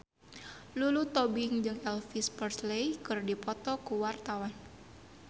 Lulu Tobing jeung Elvis Presley keur dipoto ku wartawan